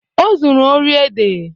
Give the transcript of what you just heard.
O zuru ori ede.